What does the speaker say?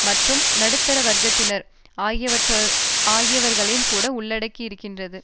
மற்றும் நடுத்தர வர்க்கத்தினர் ஆகியவர்களையும் கூட உள்ளடக்கியிருக்கிறது